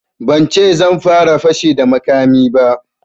Ban ce zan fara fashi da makami ba